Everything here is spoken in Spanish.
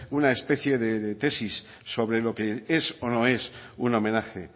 una especie de tesis sobre lo que es o no es un homenaje